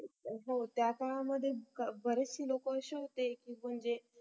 हो त्याच्या मध्ये बरेचशी लोकं अशी होती की जे